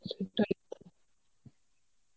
সেটাই তো.